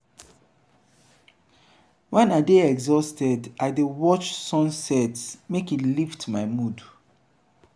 wen i dey exhausted i dey watch sunset make e lift my mood.